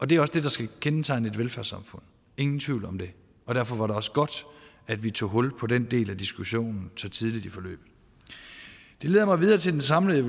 det er også det der skal kendetegne et velfærdssamfund ingen tvivl om det og derfor var det også godt at vi tog hul på den del af diskussionen så tidligt i forløbet det leder mig videre til den samlede